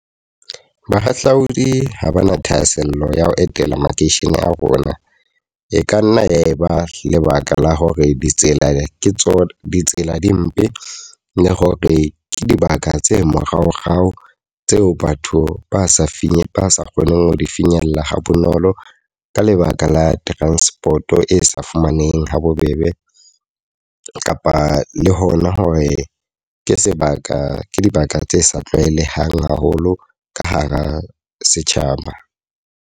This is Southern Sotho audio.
Bahahlaodi ha ba na thahasello ya ho etela makeishene a rona. E ka nna ya e ba lebaka la hore ditsela di ke tsona ditsela di mpe, le hore ke dibaka tse moraorao tseo batho ba sa finyella ba sa kgoneng ho di finyella ha bonolo ka lebaka la transport-o e sa fumaneheng ha bobebe. Kapa le hona hore ke sebaka ke dibaka tse sa tlwaelehang haholo ka hara setjhaba.